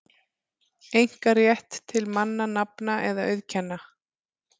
einkarétt til mannanafna eða auðkenna.